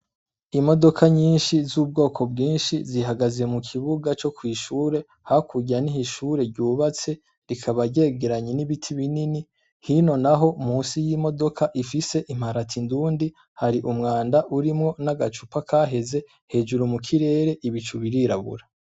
Imodoka nyinshi z'ubwoko bwinshi, zihagaze mu kibuga co kw'ishure hakurya niho ishure ryubatse rikaba ryegeranye n'ibiti binini, hino naho munsi y'imodoka ifise imparati ndundi hari umwanda urimwo nagacupa kaheze, hejuru mu kirere Ibicu birirabura.